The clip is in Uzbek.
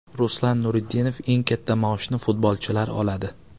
Ruslan Nuriddinov: Eng katta maoshni futbolchilar oladi.